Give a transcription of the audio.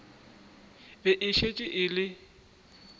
be e šetše e le